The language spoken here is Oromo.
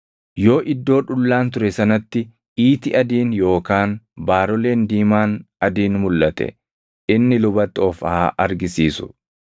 yoo iddoo dhullaan ture sanatti iiti adiin yookaan baaroleen diimaan adiin mulʼate inni lubatti of haa argisiisu.